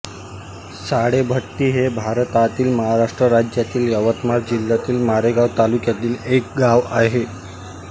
साळेभट्टी हे भारतातील महाराष्ट्र राज्यातील यवतमाळ जिल्ह्यातील मारेगांव तालुक्यातील एक गाव आहे